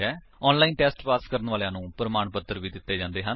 online test pass ਕਰਨ ਵਾਲਿਆਂ ਨੂੰ ਪ੍ਰਮਾਣ ਪੱਤਰ ਵੀ ਦਿੰਦੇ ਹਨ